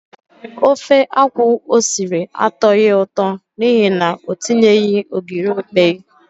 Ofe akwụ o siri atọghị ụtọ n'ihi na o tinyeghị ogiri okpei.